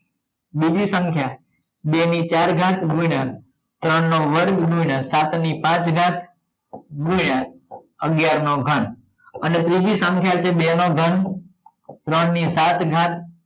બીજી સંખ્યા બે ની ચાર ઘાત ગુણ્યા ત્રણ વર્ગ ગુણ્યા સાત ની પાંચ ઘાત ગુણ્યા અગિયાર નો ઘન અને ત્રીજી સંખ્યા છે બેનો ઘન ત્રણ ની સાત ઘાત